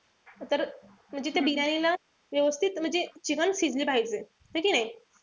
तर म्हणजे ते बिर्याणीला व्यवस्थित म्हणजे chicken शिजले पाहिजे. है कि नाई?